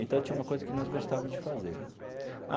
Então tinha uma coisa que nós gostávamos de fazer.